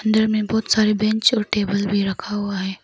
अंदर में बहुत सारे बेंच और टेबल भी रखा हुआ है।